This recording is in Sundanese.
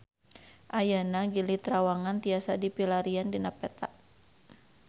Ayeuna Gili Trawangan tiasa dipilarian dina peta